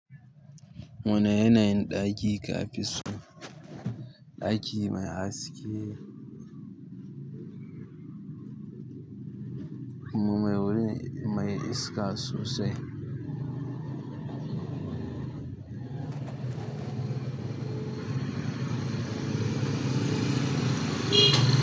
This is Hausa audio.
Wani yanayin ɗaki kafiso, ɗaki mai haske, mu mai wuri, mai iska sosai.